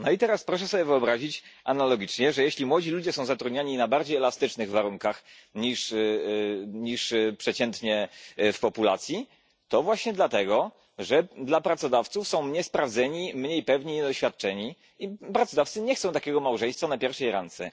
I teraz proszę sobie wyobrazić analogicznie, że jeśli młodzi ludzie są zatrudniani na bardziej elastycznych warunkach niż przeciętnie w populacji, to właśnie dlatego, że dla pracodawców są niesprawdzeni, mniej pewni, niedoświadczeni i pracodawcy nie chcą takiego małżeństwa po pierwszej randce.